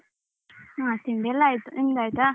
ಹ ತಿಂಡಿಯೆಲ್ಲ ಆಯ್ತು ನಿಮ್ದ್ ಆಯ್ತಾ?